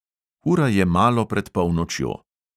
Ura je malo pred polnočjo.